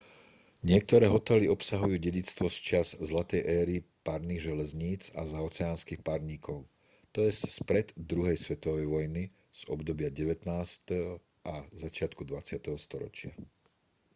niektoré hotely obsahujú dedičstvo z čias zlatej éry parných železníc a zaoceánskych parníkov t j spred druhej svetovej vojny z obdobia 19. a začiatku 20. storočia